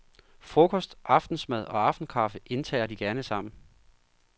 Frokost, aftensmad og aftenskaffe indtager de gerne sammen.